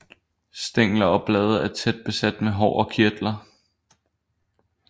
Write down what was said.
Stængler og blade er tæt besat med hår og kirtler